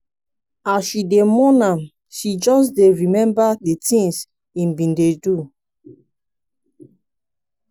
as she dey mourn am she just dey remember di tins im bin dey do.